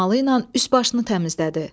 Dəsmalı ilə üst-başını təmizlədi.